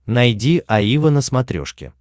найди аива на смотрешке